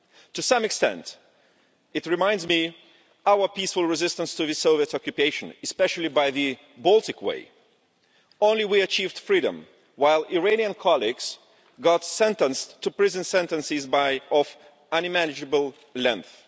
To some extent it reminds me of our peaceful resistance to the Soviet occupation, especially with the Baltic Way only we achieved freedom, while Iranian colleagues have been sentenced to prison, with sentences of unimaginable length.